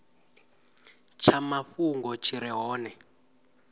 tsha mafhungo tshi re hone